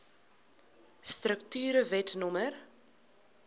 strukture wet no